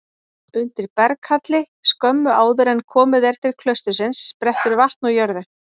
Undir berghalli skömmu áður en komið er til klaustursins sprettur vatn úr jörðu.